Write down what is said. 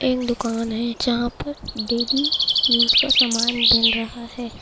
एक दुकान है जहा पर डेली यूज का सामान मिल रहा है।